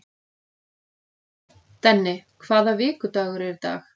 Denni, hvaða vikudagur er í dag?